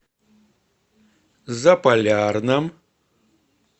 заполярном